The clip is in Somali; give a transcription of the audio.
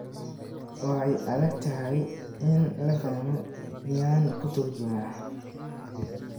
Way adag tahay in la fahmo, miyaan kuu turjumaa?